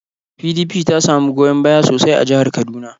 PDP ta samu goyon baya sosai a jihar Kaduna.